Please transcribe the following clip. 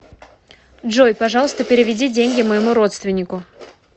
джой пожалуйста переведи деньги моему родственнику